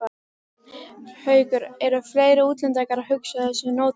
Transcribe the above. Haukur: Eru fleiri útlendingar að hugsa á þessum nótum?